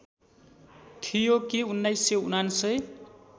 थियो कि १९९९